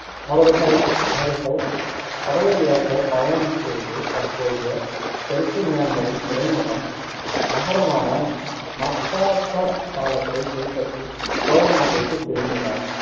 அவர்கள்~ அவர்கள் கடல் வழியாகப் பயணம் செய்து தற்போதைய தெற்கு மியான்மரின் துறைமுகம் நகரமான மக்பாபாலத்தைக் கைப்பற்றி சோழ நாட்டிற்குத் திரும்பினர்.